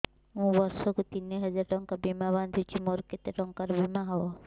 ମୁ ବର୍ଷ କୁ ତିନି ହଜାର ଟଙ୍କା ବୀମା ବାନ୍ଧୁଛି ମୋର କେତେ ଟଙ୍କାର ବୀମା ହବ